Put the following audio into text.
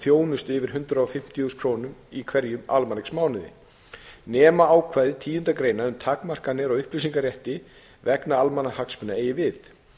þjónustu yfir hundrað fimmtíu þúsund krónur í hverjum almanaksmánuði nema ákvæði tíundu grein um takmarkanir á upplýsingarétti vegna almannahagsmuna eigi við